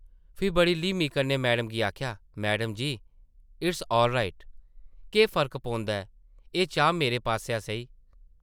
फ्ही बड़ी ल्हीमी कन्नै मैडम गी आखेआ , ‘‘मैडम जी, इट’स ऑलराइट। केह् फर्क पौंदा ऐ?एह् चाह् मेरे पासेआ सेही ।’’